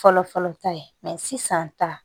Fɔlɔ fɔlɔ ta ye sisan ta